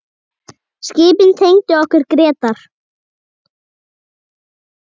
Skipin tengdu okkur Grétar.